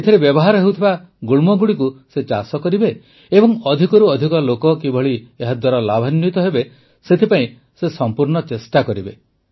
ଏଥିରେ ବ୍ୟବହାର ହେଉଥିବା ଗୁଳ୍ମଗୁଡ଼ିକୁ ସେ ଚାଷ କରିବେ ଏବଂ ଅଧିକରୁ ଅଧିକ ଲୋକ କିଭଳି ଏହାଦ୍ୱାରା ଲାଭାନ୍ୱିତ ହେବେ ସେଥିପାଇଁ ସେ ସମ୍ପୂର୍ଣ୍ଣ ଚେଷ୍ଟା କରିବେ